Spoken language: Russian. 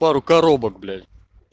пару коробок блять